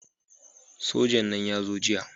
Sojan nan ya zo jiya